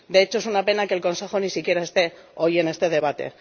De hecho, es una pena que el Consejo ni siquiera esté hoy en este debate.